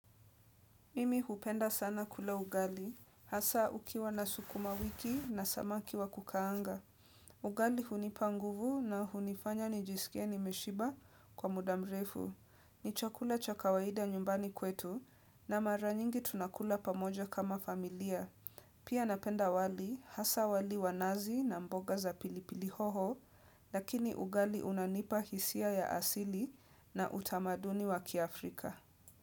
Mimi hupenda sana kula ugali, hasaa ukiwa na sukuma wiki na samaki wa kukaanga. Ugali hunipa nguvu na hunifanya nijisikie nimeshiba kwa muda mrefu. Ni chakula cha kawaida nyumbani kwetu, na mara nyingi tunakula pamoja kama familia. Pia napenda wali, hasaa wali wa nazi na mboga za pilipili hoho, lakini ugali unanipa hisia ya asili na utamaduni wa kiafrika.